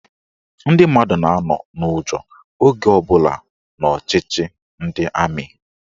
Ndị mmadụ na-anọ n'ụjọ oge ọbụla n'ọchịchị ndị amị.